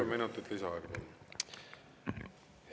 Kolm minutit lisaaega, palun!